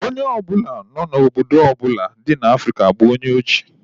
Onye ọbụla no na obodo ọbụla dị n'Afrika bụ onye ojii